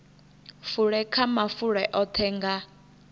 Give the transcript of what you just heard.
fule kha mafulo oṱhe nga